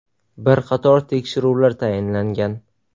Bir qator tekshiruvlar tayinlangan.